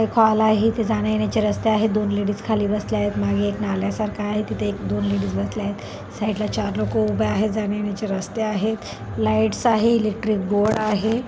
Call आहे इथे जाण्यायेण्याचे रस्ते आहेत दोन लेडीज खाली बसल्या आहेत मागे एक नाल्यासारखं आहे तिथे एक दोन लेडीज बसल्या आहेत. साईडला चार लोकं उभे आहे जाण्यायेण्याचे रस्ते आहेत लाईट्स आहे. इलेक्ट्रिक बोर्ड आहे.